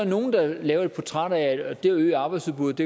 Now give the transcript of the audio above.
nogle der laver et portræt af at det at øge arbejdsudbudet